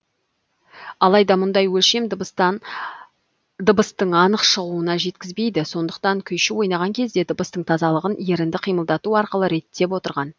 алайда мұндай өлшем дыбыстын анық шығуына жеткізбейді сондықтан күйші ойнаған кезде дыбыстың тазалығын ерінді қимылдату арқылы реттеп отырған